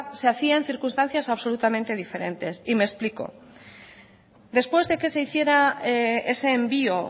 se hacía en circunstancias absolutamente diferentes y me explico después de que se hiciera ese envió